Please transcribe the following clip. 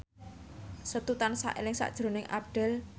Setu tansah eling sakjroning Abdel